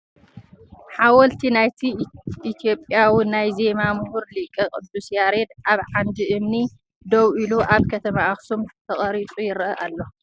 ሓወልቲ ናይቲ ኢትዮጵያዊ ናይ ዜማ ምሁር ሊቅ ቅዱስ ያሬድ ኣብ ዓንዲ እምኒ ደው ኢሉ ኣብ ከተማ ኣኽሱም ተቐሪፁ ይርአ ኣሎ።